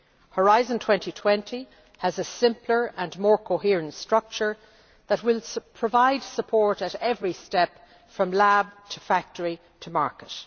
Horizon 2020 has a simpler and more coherent structure that will provide support at every step from lab to factory to market.